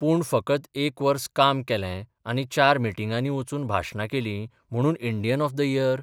पूण फकत एक बर्स काम केलें आनी चार मिटिंगांनी वचून भाशणां केलीं म्हणून इंडियन ऑफ द इयर?